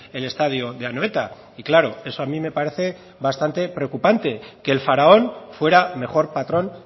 el estadio de anoeta y claro eso a mí me parece bastante preocupante que el faraón fuera mejor patrón